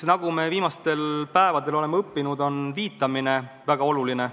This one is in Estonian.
Nagu me viimastel päevadel oleme õppinud, on viitamine väga oluline.